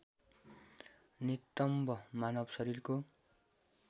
नितम्ब मानव शरीरको